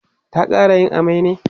ta ƙara yin amai ne?